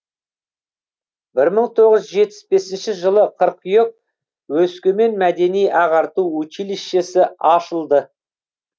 бір мың тоғыз жүз жетпіс бесінші жылы қыркүйек өскемен мәдени ағарту училищесі ашылды